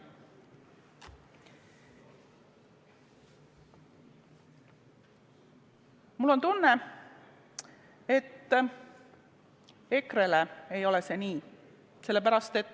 Mul on tunne, et EKRE-le ei ole see nii.